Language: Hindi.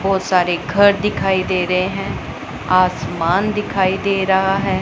बहुत सारे घर दिखाई दे रहे हैं आसमान दिखाई दे रहा है।